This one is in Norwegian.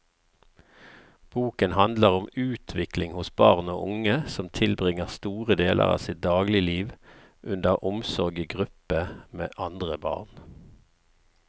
Boken handler om utvikling hos barn og unge som tilbringer store deler av sitt dagligliv under omsorg i gruppe med andre barn.